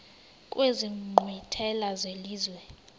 kwezi nkqwithela zelizwe